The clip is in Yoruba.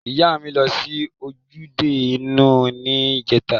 Iya mi lo si ojude iu ni ijeta.